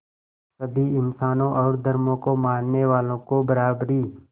सभी इंसानों और धर्मों को मानने वालों को बराबरी